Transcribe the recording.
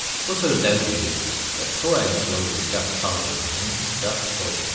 Bu sözləri deyirdi və sol əlini qoyurdu gah sağ gözünün, gah sol gözünün üstə.